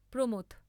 প্র।